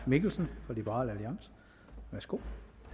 mikkelsen for liberal alliance værsgo